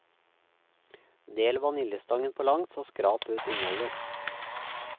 Del vaniljestangen på langs og skrap ut innholdet.